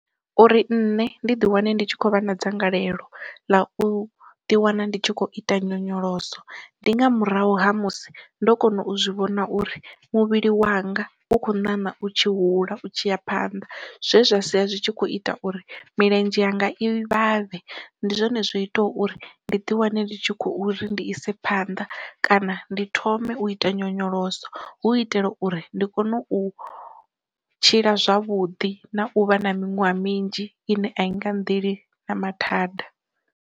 Uri nṋe ndi ḓi wane ndi tshi khou vha na dzangalelo ḽa u ḓi wana ndi tshi khou ita nyonyoloso, ndi nga murahu ha musi ndo kona u zwi vhona uri muvhili wanga u kho ṋaṋa u tshi hula u tshi ya phanḓa zwe zwa sia zwi tshi kho ita uri milenzhe yanga i vhavhe ndi zwone zwi ita uri ndi ḓi wane ndi tshi khou ri ndi ise phanḓa kana ndi thome u ita nyonyoloso hu itela uri ndi kone u tshila zwavhuḓi na u vha na miṅwaha minzhi ine a i nga nḓeli na mathada.